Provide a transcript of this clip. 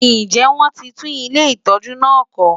Ǹjẹ́ wọ́n ti tún ilé ìtọ́jú náà kọ́?